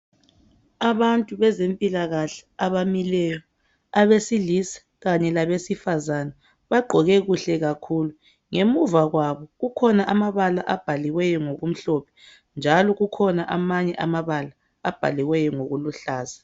Abantu bezempilakahle abamileyo abesilisa kanye labesifazana .Bagqoke kuhle kakhulu ngemuva kwabo kukhona amabala abhaliweyo ngoku mhlophe njalo kukhona amanye amabala abhaliweyo ngokuluhlaza .